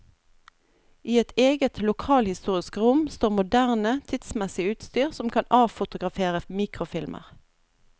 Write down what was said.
I et eget lokalhistorisk rom står moderne, tidsmessig utstyr som kan avfotografere mikrofilmer.